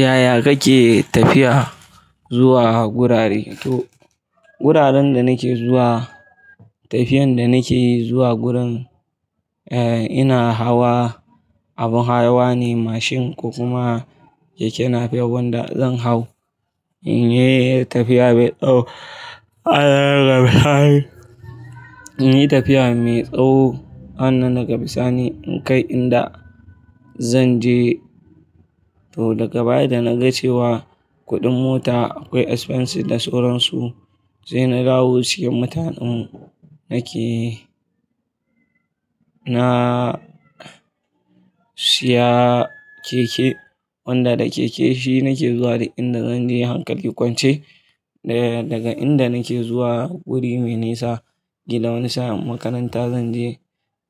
Yaya kake tafiya zuwa wurare? To, wuraren da nake zuwa, tafiyan da nake zuwa gurin, eh, ina hawa abun hawa ne mashin ko kuma keke NAPEP wanda zan hau. In yi tafiya mai tsawo, in yi tafiya mai tsawo sannan daga bisani in kai inda zan je. To, daga baya da na ga cewa kuɗin mota akwai expenses da sauran su, sai na dawo cikin mutanen nake, na siya keke wanda da keke shi nake zuwa duk inda zan je hankali kwance. Daga inda nake zuwa wuri me nisa, kila wani sa'in makaranta zan je,